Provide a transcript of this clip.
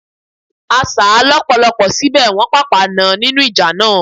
A sà á lọ́pọ̀lọpọ̀ síbẹ̀, Wọ́n pàpà nàn án nínú ìjà náà.